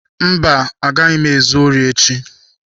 Mba, agaghị m ezu ori echi.